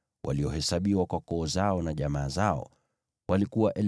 waliohesabiwa kwa koo zao na jamaa zao, walikuwa 2,630.